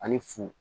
Ani fu